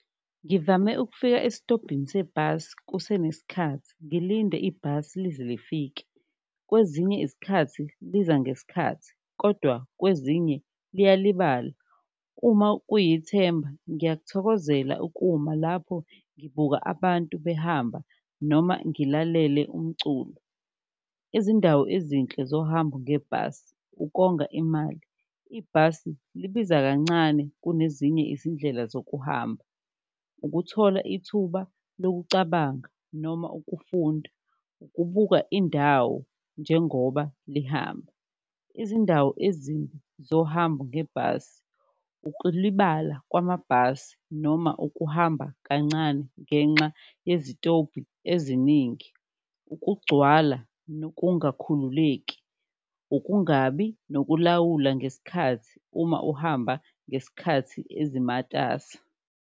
Ngivame ukufika esitobhini sebhasi kusenesikhathi, ngilinde ibhasi lize lifike kwezinye izikhathi liza ngesikhathi kodwa kwezinye liyalibala, uma kuyithemu ngiyakuthokozela ukuma lapho ngibuka abantu behamba noma ngilalele umculo. Izindawo ezinhle zohamba ngebhasi ukonga imali, ibhasi libiza kancane kunezinye izindlela zokuhamba, ukuthola ithuba lokucabanga noma ukufunda, ukubuka indawo njengoba lihamba. Izindawo zohambo ngebhasi, ukulibala kwamabhasi noma ukuhamba kancane ngenxa yezitobhi eziningi, ukugcwala nokungakhululeki, ukungabi nokulawula ngesikhathi uma uhamba ngesikhathi ezimatasa.